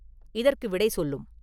இதற்கு விடை சொல்லும்!